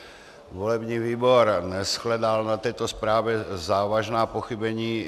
Volební výbor neshledal na této zprávě závažná pochybení.